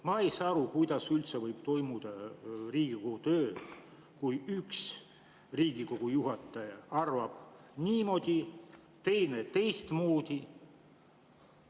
Ma ei saa aru, kuidas üldse võib toimuda Riigikogu töö, kui üks Riigikogu juhataja arvab niimoodi, teine teistmoodi.